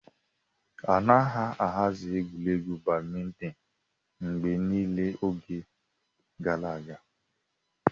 A na-ahazi egwuregwu Badimintin mgbe niile n'oge gara aga.